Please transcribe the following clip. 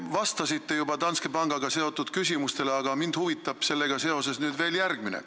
Te vastasite juba Danske pangaga seotud küsimustele, aga mind huvitab sellega seoses veel järgmine.